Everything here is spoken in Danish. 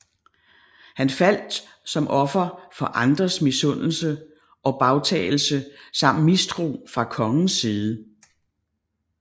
Han faldt som offer for andres misundelse og bagtalelse samt mistro fra kongens side